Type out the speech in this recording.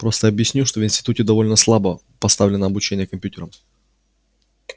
просто объясняю что в институте довольно слабо поставлено обучение компьютерам